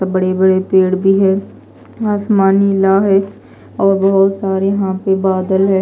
बड़े बड़े पेड़ भी है आसमान नीला है और बहुत सारे यहां पे बादल है।